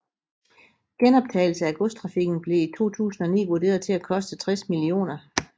Genoptagelse af godstrafikken blev i 2009 vurderet til at koste 60 mill